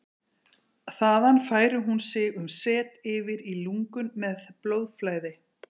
Þaðan færir hún sig um set yfir í lungun með blóðflæði.